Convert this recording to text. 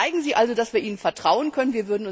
Zeigen Sie also, dass wir Ihnen vertrauen können.